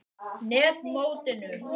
net mótinu?